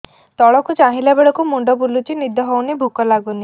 ତଳକୁ ଚାହିଁଲା ବେଳକୁ ମୁଣ୍ଡ ବୁଲୁଚି ନିଦ ହଉନି ଭୁକ ଲାଗୁନି